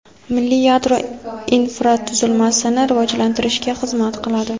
milliy yadro infratuzilmasini rivojlantirishga xizmat qiladi.